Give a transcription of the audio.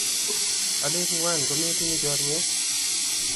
alen ngwan kometinye chorwet